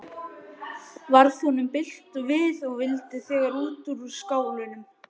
Varð honum bilt við og vildi þegar út úr skálanum.